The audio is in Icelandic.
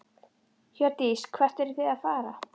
Hjördís: Hvert eruð þið að fara?